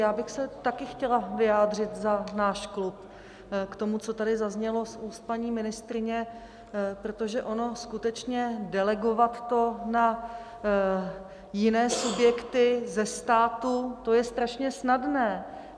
Já bych se také chtěla vyjádřit za náš klub k tomu, co tady zaznělo z úst paní ministryně, protože ono skutečně delegovat to na jiné subjekty ze státu, to je strašně snadné.